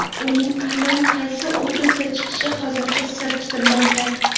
Uning aynan qaysi obrazda chiqishi hozircha sir tutilmoqda.